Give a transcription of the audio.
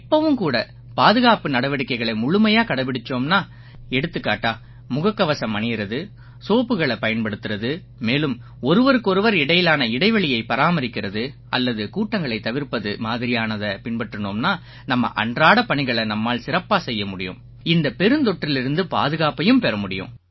இப்பவும் கூட பாதுகாப்பு நடவடிக்கைகளை முழுமையா கடைப்பிடிச்சோம்னா எடுத்துக்காட்டா முகக்கவசம் அணியறது சோப்புக்களைப் பயன்படுத்தறது மேலும் ஒருவருக்கொருவர் இடையிலான இடைவெளியைப் பராமரிக்கறது அல்லது கூட்டங்களைத் தவிர்ப்பது மாதிரியானதைப் பின்பற்றினோம்னா நம்ம அன்றாடப் பணிகளை நம்மால சிறப்பாச் செய்ய முடியும் இந்தப் பெருந்தொற்றிலிருந்து பாதுகாப்பையும் பெற முடியும்